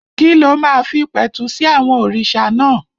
Kí ló máa fi pẹ̀tù sí àwọn òrìṣà náà?